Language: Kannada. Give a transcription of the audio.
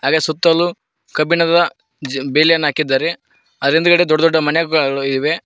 ಹಾಗೆ ಸುತ್ತಲೂ ಕಬ್ಬಿಣದ ಬೇಲಿಯನ್ನು ಹಾಕಿದ್ದಾರೆ ಅದ್ರ ಹಿಂದಗಡೆ ದೊಡ್ಡ ದೊಡ್ಡ ಮನೆಗಳಿವೆ.